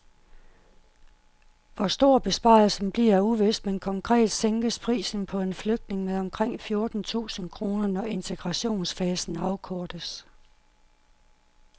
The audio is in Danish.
Hvor stor besparelsen bliver er uvist, men konkret sænkes prisen på en flygtning med omkring fjorten tusind kroner, når integrationsfasen afkortes.